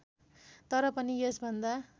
तर पनि यसभन्दा